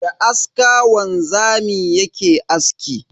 Da aska wanzami yake aski.